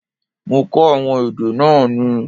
Mo kó àwọn èdè náà ni.